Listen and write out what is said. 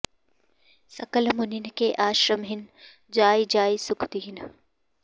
सकल मुनिन्ह के आश्रमन्हि जाइ जाइ सुख दीन्ह